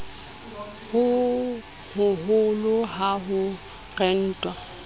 ho hoholo ha ho rentwa